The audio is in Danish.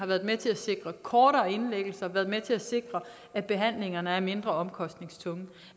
været med til at sikre kortere indlæggelser har været med til at sikre at behandlingerne er mindre omkostningstunge